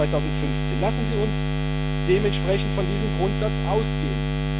2015. Lassen Sie uns dementsprechend von diesem Grundsatz ausgehen.